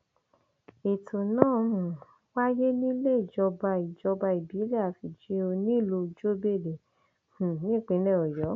ètò náà um wáyé níléejọba ìjọba ìbílẹ afìjíò nílùú jobele um ìpínlẹ ọyọ